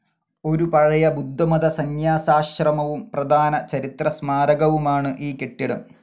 ഒരു പഴയ ബുദ്ധമത സന്യാസാശ്രമവും പ്രധാന ചരിത്ര സ്മാരകവുമാണ് ഈ കെട്ടിടം.